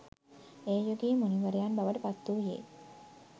ඒ යුගයේ මුනිවරයන් බවට පත්වූයේ